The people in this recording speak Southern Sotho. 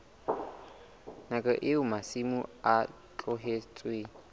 nakong eo masimo a tlohetsweng